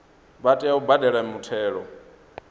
vha tea u badela muthelo